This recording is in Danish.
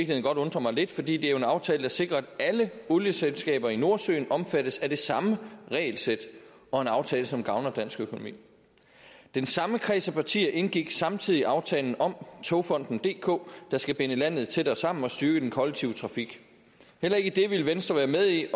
godt undre mig lidt for det er jo en aftale der sikrer at alle olieselskaber i nordsøen omfattes af det samme regelsæt og en aftale som gavner dansk økonomi den samme kreds af partier indgik samtidig aftalen om togfonden dk der skal binde landet tættere sammen og styrke den kollektive trafik heller ikke det ville venstre være med i